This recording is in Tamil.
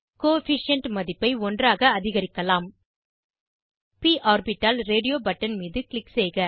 கோஎஃபிஷியன்ட் மதிப்பை ஒன்றாக அதிகரிக்கலாம் ப் ஆர்பிட்டால் ரேடியோ பட்டன் மீது க்ளிக் செய்க